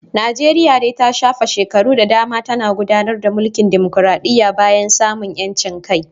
Najeriya dai ta shafe shekaru da dama tana gudanar da mulkin dimokradiyya bayan samun 'yancin kai